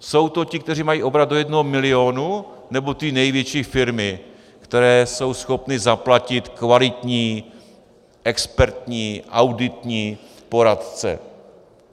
Jsou to ti, kteří mají obrat do jednoho milionu, nebo ty největší firmy, které jsou schopny zaplatit kvalitní expertní, auditní poradce?